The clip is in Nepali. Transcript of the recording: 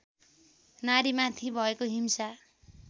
नारीमाथि भएको हिंसा